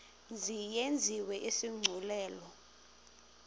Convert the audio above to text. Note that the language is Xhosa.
mzi yenziwe isigculelo